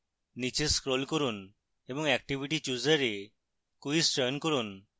নীচে scroll করুন এবং activity chooser এ quiz চয়ন করুন